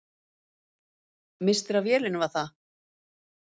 Misstir af vélinni, var það?